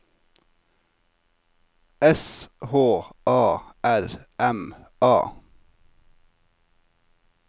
S H A R M A